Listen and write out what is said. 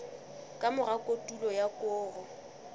ka mora kotulo ya koro